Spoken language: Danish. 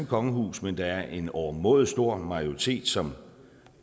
kongehus men der er en overmåde stor majoritet som